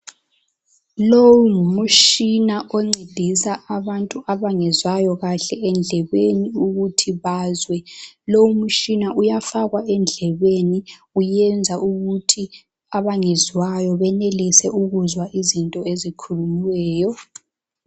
lowo ngumutshina oncedisa abantu abangezwakuhle endlebeni ukuthi bazwe lowu mutshina uyafakwa endlebeni uyenza ukuthi abangezwayo benelise ukuzwa izinto ezikhulunyiweyo